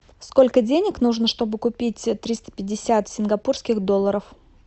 сколько денег нужно чтобы купить триста пятьдесят сингапурских долларов